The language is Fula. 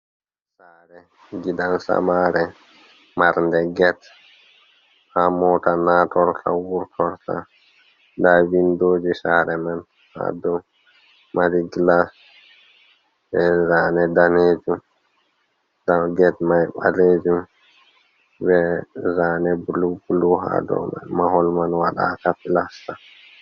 Sare gidan samare, marnde get ha mota nastorta, wurtorta. Nda windoji sare man ha do mari glas, be zane danejum. Nda get mai ɓaleejum be zane blu-blu ha dou. Mahol man waɗaaka plasta.